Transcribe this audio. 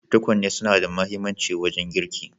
Tukwane suna da mahimmanci wajen girki.